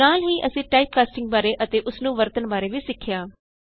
ਨਾਲ ਹੀ ਅਸੀਂ ਟਾਈਪਕਾਸਟਿੰਗ ਬਾਰੇ ਅਤੇ ਉਸਨੂੰ ਵਰਤਨ ਬਾਰੇ ਵੀ ਸਿੱਖਿਆ